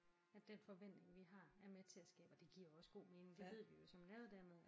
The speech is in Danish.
At den forventning vi har er med til at skabe og det giver jo også god mening det ved vi jo som læreruddannede